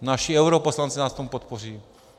Naši europoslanci vás v tom podpoří.